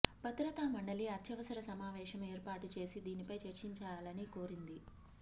భద్రతా మండలి అత్యవసర సమావేశం ఏర్పాటు చేసి దీనిపై చర్చించాలని కోరింది